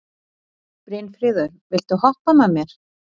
Brynfríður, viltu hoppa með mér?